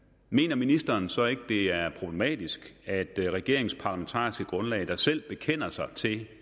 mener ministeren så ikke det er problematisk at regeringens parlamentariske grundlag der selv bekender sig til